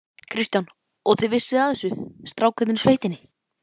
Kristján: Og þið vissuð af þessu, strákarnir í sveitinni?